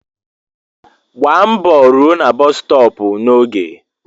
Gbaa mbọ rụọ na bọs stọọpu n'oge.